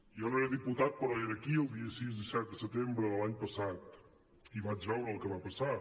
jo no era diputat però era aquí el dia sis i set de setembre de l’any passat i vaig veure el que va passar